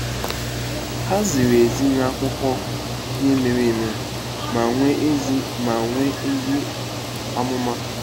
Ha ziri ezi n'akụkọ ihe mere eme ma nwee ezi ma nwee ezi amụma.